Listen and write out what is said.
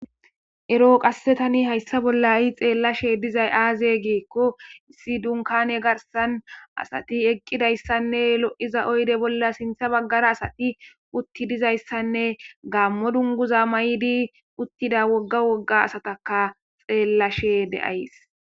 ero qasse tani hayssa bolla hai xeellashe dizay aaze giikko issi dunkane garsan asati eqqidayssanne lo7iza oyde bolla sintha baggara asati utti dizayssanne gaammo dunguza may7idi uttida wogga wogga asataka xeellashe de7ays